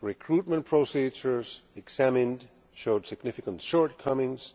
Recruitment procedures examined showed significant shortcomings